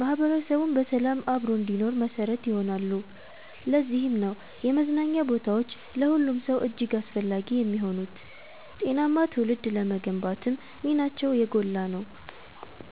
ማህበረሰቡም በሰላም አብሮ እንዲኖር መሰረት ይሆናሉ። ለዚህም ነው የመዝናኛ ቦታዎች ለሁሉም ሰው እጅግ አስፈላጊ የሚሆኑት፤ ጤናማ ትውልድ ለመገንባትም ሚናቸው የጎላ ነው።